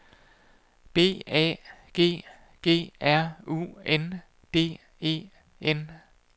B A G G R U N D E N